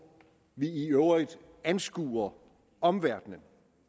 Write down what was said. vi i øvrigt anskuer omverdenen